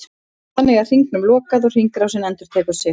Þannig er hringnum lokað og hringrásin endurtekur sig.